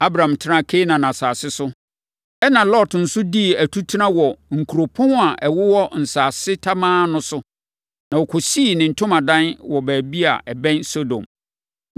Abram tenaa Kanaan asase so. Ɛnna Lot nso dii atutena wɔ nkuropɔn a ɛwowɔ nsase tamaa no so, na ɔkɔsii ne ntomadan wɔ baabi a ɛbɛn Sodom.